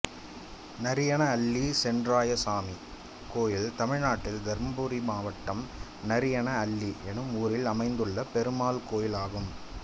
நரியன அள்ளி சென்றாயசாமி கோயில் தமிழ்நாட்டில் தர்மபுரி மாவட்டம் நரியன அள்ளி என்னும் ஊரில் அமைந்துள்ள பெருமாள் கோயிலாகும்